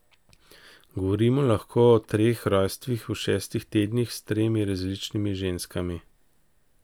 Govorimo lahko o treh rojstvih v šestih tednih, s tremi različnimi ženskami.